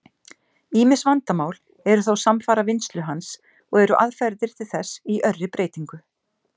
Ýmis vandamál eru þó samfara vinnslu hans, og eru aðferðir til þess í örri breytingu.